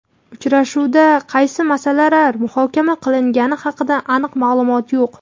Uchrashuvda qaysi masalalar muhokama qilingani haqida aniq ma’lumot yo‘q.